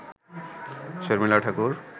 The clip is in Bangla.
শর্মিলা ঠাকুর